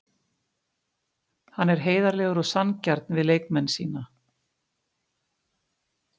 Hann er heiðarlegur og sanngjarn við leikmenn sína.